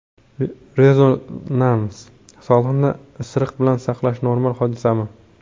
Rezonans: Sog‘liqni isiriq bilan saqlash – normal hodisami?